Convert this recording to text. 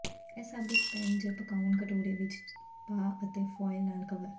ਇਹ ਸਭ ਇੱਕ ਪੈਨ ਜ ਪਕਾਉਣਾ ਕਟੋਰੇ ਵਿੱਚ ਪਾ ਅਤੇ ਫੁਆਇਲ ਨਾਲ ਕਵਰ